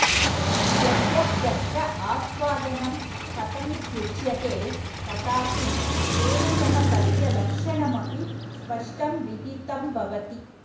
यद्यप्यत्र आस्वादनं कथमित्युच्यते तथापि तेन सह तस्य लक्षणमपि स्पष्टं विदितं भवति